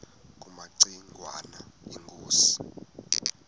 kumaci ngwana inkosi